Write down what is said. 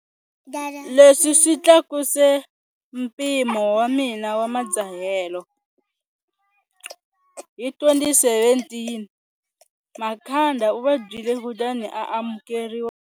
Leswi swi tlakuse mpimo wa mina wa madzahelo.. Hi 2017, Makhanda u vabyile kutani a amukeriwa.